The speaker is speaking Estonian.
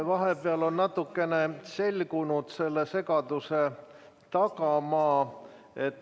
Vahepeal on natukene selgunud selle segaduse tagamaad.